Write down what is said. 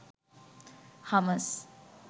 hummers